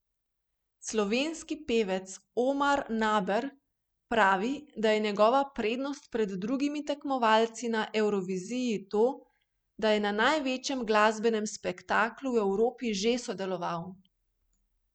Slovenski pevec Omar Naber pravi, da je njegova prednost pred drugimi tekmovalci na Evroviziji to, da je na največjem glasbenem spektaklu v Evropi že sodeloval.